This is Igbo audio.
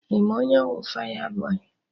Ị ma onye bụ fayabọy?